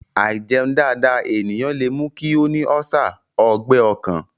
Àìjẹun dáadáa ènìyàn lè mú kí ó ní ọ́sà/ Ọgbẹ́ ọkàn